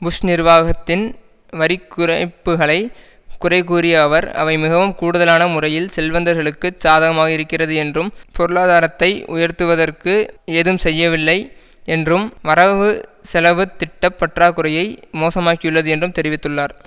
push நிர்வாகத்தின் வரிக்குறைப்புக்களை குறைகூறிய அவர் அவை மிகவும் கூடுதலான முறையில் செல்வந்தர்களுக்குச் சாதகமாக இருக்கிறது என்றும் பொருளாதாரத்தை உயர்த்துவதற்கு ஏதும் செய்யவில்லை என்றும் வரவு செலவு திட்ட பற்றாக்குறையை மோசமாக்கியுள்ளது என்றும் தெரிவித்துள்ளார்